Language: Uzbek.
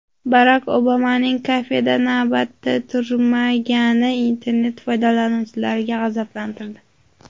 Barak Obamaning kafeda navbatda turmagani internet foydalanuvchilarini g‘azablantirdi.